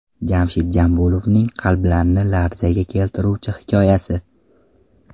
Jamshid Jambulovning qalblarni larzaga keltiruvchi hikoyasi.